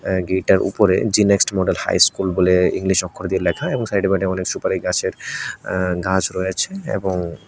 এ gate টার উপরে জেনেক্সট মডেল হাই স্কুল বলে ইংলিশ অক্ষর দিয়ে লেখা এবং সাইডে ফাইডে অনেক সুপারি গাছের আ গাছ রয়েছে এবং --